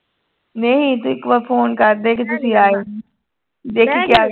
ਨਹੀਂ ਤੂੰ ਇੱਕ ਵਾਰ phone ਕਰਦੇ ਕਿ ਤੁਸੀਂ ਆਏ ਨੀ ਦੇਖੀ ਕਿਆ ਕਹਿੰ